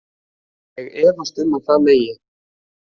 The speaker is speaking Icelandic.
Ég efast um að það megi.